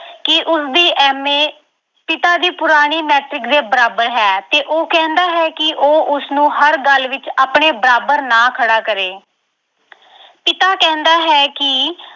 ਕਿ ਉਸਦੀ M. A. ਪਿਤਾ ਦੀ ਪੁਰਾਣੀ Matric ਦੇ ਬਰਾਬਰ ਹੈ ਤੇ ਉਹ ਕਹਿੰਦਾ ਹੈ ਕਿ ਉਹ ਉਸਨੂੰ ਹਰ ਗੱਲ ਵਿੱਚ ਆਪਣੇ ਬਰਾਬਰ ਨਾ ਖੜਾ ਕਰੇ ਪਿਤਾ ਕਹਿੰਦਾ ਹੈ ਕਿ